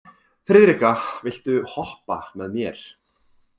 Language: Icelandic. Friðrikka, viltu hoppa með mér?